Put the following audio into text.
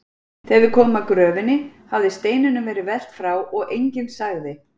Þegar við komum að gröfinni hafði steininum verið velt frá og enginn sagði